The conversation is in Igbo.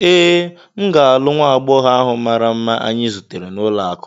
Ee, m ga-alụ nwa agbọghọ ahụ mara mma anyị zutere n'ụlọakụ.